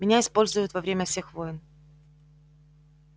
меня используют во время всех войн